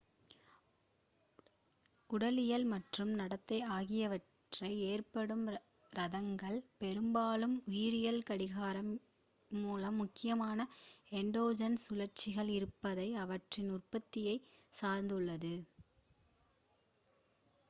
உடலியல் மற்றும் நடத்தை ஆகியவற்றில் ஏற்படும் ரிதங்கள் பெரும்பாலும் உயிரியல் கடிகாரங்கள் மூலம் முக்கியமாக எண்டோஜெனஸ் சுழற்சிகள் இருப்பதையும் அவற்றின் உற்பத்தியையும் சார்ந்துள்ளது